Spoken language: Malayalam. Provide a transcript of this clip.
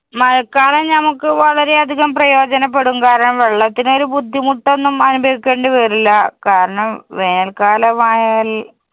മഴക്കാലം ഞമ്മക്ക് വളരെ അധികം പ്രയോജനപ്പെടും. കാരണം, വെള്ളത്തിനൊരു ബുദ്ധിമുട്ടൊന്നും അനുഭവിക്കേണ്ടി വരില്ല. കാരണം വേനല്‍ക്കാലമായാല്‍